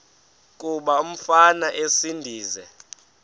kuba umfana esindise